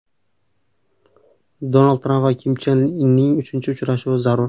Donald Tramp va Kim Chen Inning uchinchi uchrashuvi zarur.